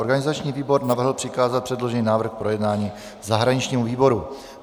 Organizační výbor navrhl přikázat předložený návrh k projednání zahraničnímu výboru.